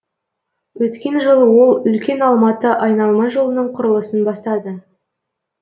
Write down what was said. өткен жылы ол үлкен алматы айналма жолының құрылысын бастады